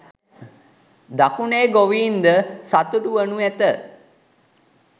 දකුණේ ගොවීන්ද සතුටුවනු ඇත